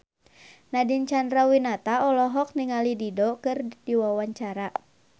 Nadine Chandrawinata olohok ningali Dido keur diwawancara